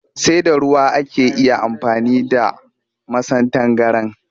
Sai da ruwa ake iya amfani da masan tangaran